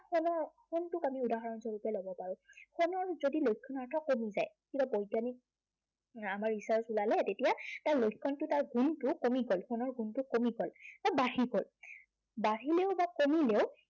টোক আমি উদাহৰণস্বৰূপে যদি লক্ষণৰেখা কমি যায় তেতিয়া বৈজ্ঞানিক আমাৰ recharge ওলালে হয় তেতিয়া তাৰ গুণটো কমি গল বা বাঢ়ি গল। বাঢ়িলেও বা কমিলেও